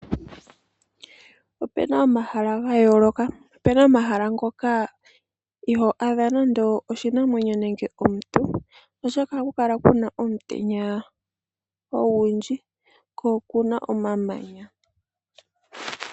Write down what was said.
Opu na omahala ga yoloka, opu na omahala ngoka ito adhako nande oshinamwenyo nenge omuntu oshoka ohaku kala kuna omutenya ogundji ko okuna omamanya.